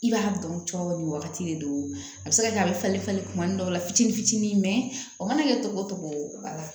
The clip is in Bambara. I b'a dɔn cɔ nin wagati de don a bɛ se ka kɛ a bɛ falen falen tuma ni dɔw la fitinin fitinin a mana kɛ togo togo a la